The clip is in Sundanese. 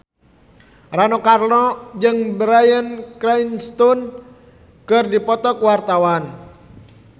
Rano Karno jeung Bryan Cranston keur dipoto ku wartawan